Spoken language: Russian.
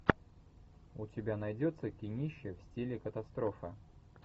у тебя найдется кинище в стиле катастрофа